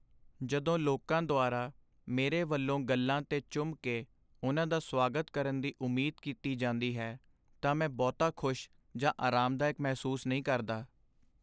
ਜਦੋਂ ਲੋਕਾਂ ਦੁਆਰਾ ਮੇਰੇ ਵੱਲੋਂ ਗੱਲ੍ਹਾਂ 'ਤੇ ਚੁੰਮ ਕੇ ਉਨ੍ਹਾਂ ਦਾ ਸਵਾਗਤ ਕਰਨ ਦੀ ਉਮੀਦ ਕੀਤੀ ਜਾਂਦੀ ਹੈ ਤਾਂ ਮੈਂ ਬਹੁਤਾ ਖੁਸ਼ ਜਾਂ ਆਰਾਮਦਾਇਕ ਮਹਿਸੂਸ ਨਹੀਂ ਕਰਦਾ।